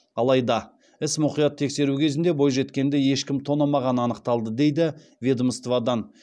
алайда істі мұқият тексеру кезінде бойжеткенді ешкім тонамағаны анықталды дейді ведомстводан